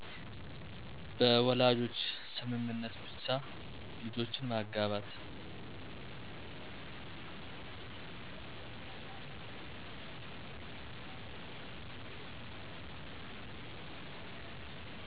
በወላጆች ስምምነት ብቻ ልጆችን ማጋባት